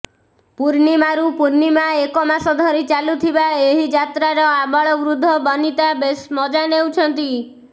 ପୂର୍ଣ୍ଣମା ରୁ ପୂର୍ଣ୍ଣମା ଏକମାସ ଧରି ଚାଲୁଥିବା ଏହି ଯାତ୍ରାର ଆବାଳ ବୃଦ୍ଧ ବାନିତା ବେଶ ମଜାନେଉଛନ୍ତି